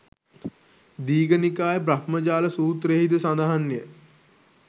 දීඝනිකාය බ්‍රහ්මජාල සූත්‍රයෙහි ද සඳහන්ය.